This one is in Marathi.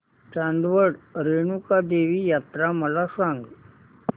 चांदवड रेणुका देवी यात्रा मला सांग